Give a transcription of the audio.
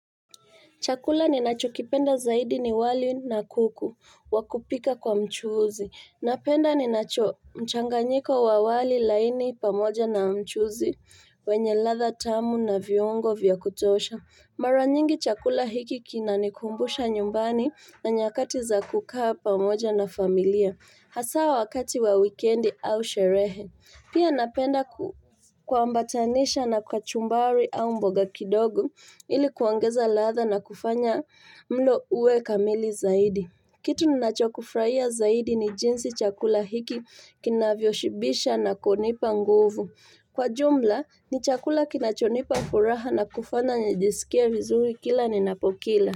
Chakula ninachokipenda zaidi ni wali na kuku wa kupika kwa mchuzi. Napenda ninacho mchanganyiko wa wali laini pamoja na mchuzi wenye ladha tamu na viungo vya kutosha. Mara nyingi chakula hiki kinanikumbusha nyumbani na nyakati za kukaa pamoja na familia. Hasaa wakati wa wikendi au sherehe. Pia napenda kuambatanisha na kachumbari au mboga kidogo ili kuongeza ladha na kufanya mlo uwe kamili zaidi. Kitu ninachokufraia zaidi ni jinsi chakula hiki kinavyoshibisha na kunipa nguvu. Kwa jumla ni chakula kinachonipa furaha na kufanya nijisikie vizuri kila ninapokila.